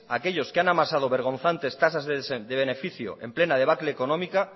aquellos que han amasado vergonzantes tasas de beneficio en plena debacle económica